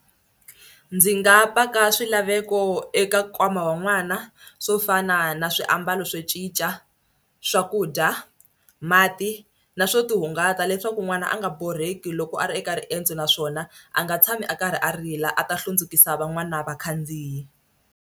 Ndzi nga paka swilaveko eka nkwama wa n'wana swo fana na swiambalo swo cinca, swakudya, mati na swo tihungata leswaku n'wana a nga borheki loko a ri eka riendzo naswona a nga tshami a karhi a rila a ta hlundzukisaka van'wana vakhandziyi.